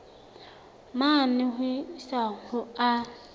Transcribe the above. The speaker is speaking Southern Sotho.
mane ho isa ho a